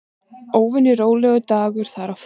Óvenju rólegur dagur þar á ferð.